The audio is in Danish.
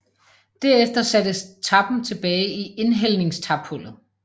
Derefter sattes tappen tilbage i indhældningstaphullet